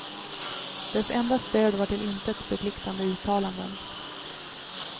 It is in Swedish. Dess enda stöd var till intet förpliktande uttalanden.